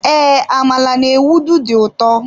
Ee, amala n'ewedu di ụtọ.